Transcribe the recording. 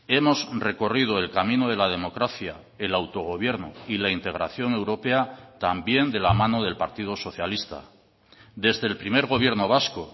hemos recorrido el camino de la democracia el autogobierno y la integración europea también de la mano del partido socialista desde el primer gobierno vasco